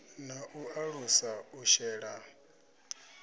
na u alusa u shela